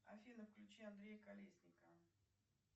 афина включи андрея колесникова